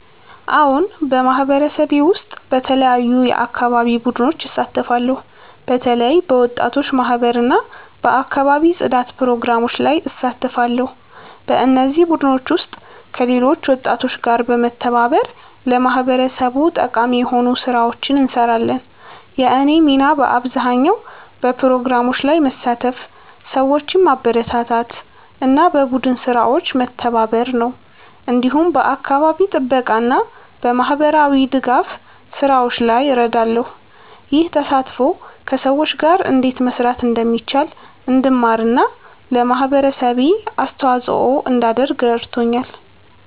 አዎን፣ በማህበረሰቤ ውስጥ በተለያዩ የአካባቢ ቡድኖች እሳተፋለሁ። በተለይ በወጣቶች ማህበር እና በአካባቢ ጽዳት ፕሮግራሞች ላይ እሳተፋለሁ። በእነዚህ ቡድኖች ውስጥ ከሌሎች ወጣቶች ጋር በመተባበር ለማህበረሰቡ ጠቃሚ የሆኑ ስራዎችን እንሰራለን። የእኔ ሚና በአብዛኛው በፕሮግራሞች ላይ መሳተፍ፣ ሰዎችን ማበረታታት እና በቡድን ስራዎች መተባበር ነው። እንዲሁም በአካባቢ ጥበቃ እና በማህበራዊ ድጋፍ ስራዎች ላይ እረዳለሁ። ይህ ተሳትፎ ከሰዎች ጋር እንዴት መስራት እንደሚቻል እንድማር እና ለማህበረሰቤ አስተዋጽኦ እንዳደርግ ረድቶኛል።